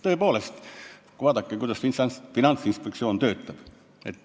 Tõepoolest, vaadake, kuidas Finantsinspektsioon töötab.